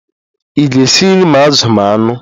Ị ga-esi nri ma azụ ma anụ?